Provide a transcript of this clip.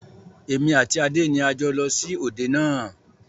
Èmi àti Adé ni a jọ lọ sí òde náà